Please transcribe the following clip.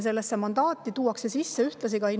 Sellesse mandaati tuuakse ühtlasi sisse innovatsiooni valdkond.